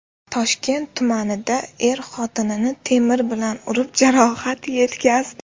Toshkent tumanida er xotinini temir bilan urib jarohat yetkazdi.